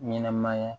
Ɲɛnɛmaya